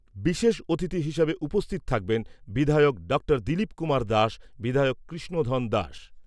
বিশেষ অতিথি হিসেবে উপস্থিত থাকবেন বিধায়ক ডা দিলীপ কুমার দাস, বিধায়ক কৃষ্ণধন দাস।